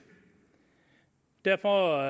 derfor